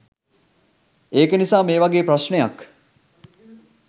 ඒක නිසා මේ වගේ ප්‍රශ්නයක්